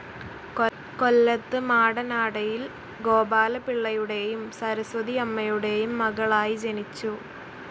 കൊല്ലത്ത് മാടനാടയിൽ ഗോപാലപിള്ളയുടെയും സരസ്വതിയമ്മയുടെയും മകളായി ജനിച്ചു.